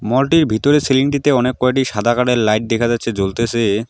মলটির ভিতরে সিলিংটিতে অনেককয়টি সাদা কালারের লাইট দেখা যাচ্ছে জ্বলতেসে।